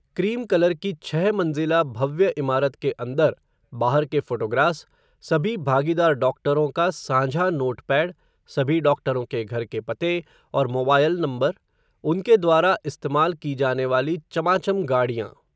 cream colour की छह मंज़िला भव्य इमारत के अंदर, बाहर के फ़ोटोग्रास, सभी भागीदार डॉक्टरों का, सांझा नोट पैड, सभी डॉक्टरों के घर के पते, और मोबायल नंबर, उनके द्वारा इस्तेमाल की जाने वाली चमाचम गाड़ियां